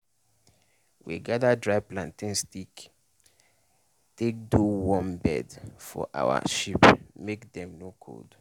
we gather dry plantain stick take do warm bed for our sheep make dem no cold.